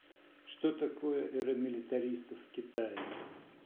что такое эра милитаристов в китае